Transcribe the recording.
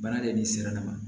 Baara de sera ne ma